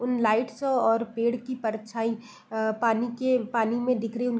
उन लाइट्स और पेड़ की परछाई पानी के पानी में दिख रही --